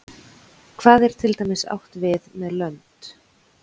hvað er til dæmis átt við með lönd